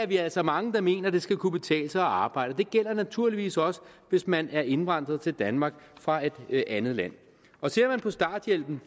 vi er altså mange der mener at det skal kunne betale sig at arbejde det gælder naturligvis også hvis man er indvandret til danmark fra et andet land ser vi på starthjælpen